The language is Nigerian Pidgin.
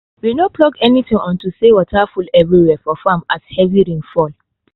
we no pluck anything unto say water full every where for farm as heavy rain fall